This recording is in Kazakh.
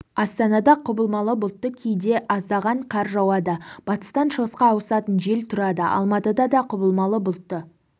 астанада құбылмалы бұлтты кейде аздаған қар жауады батыстан шығысқа ауысатын жел тұрады алматыда да құбылмалы бұлтты